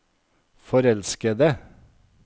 forelskede